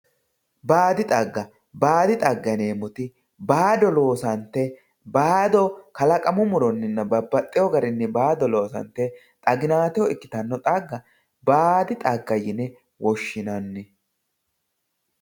Baadi xaga baadi xagga yinemoti baado loosante baado kalaqamu muroni loosante xaginateho ikitano xagga baadi xagga yine woshinani